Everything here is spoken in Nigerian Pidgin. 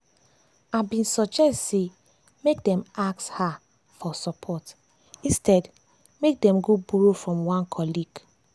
i been suggest say make dem ask hr for support instead make dem go borrow from one colleague.